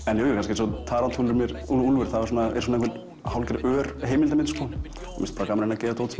eins og Tarantúlur með Úlfur úlfur það er hálfgerð ör heimildarmynd mér finnst gaman að gera dót sem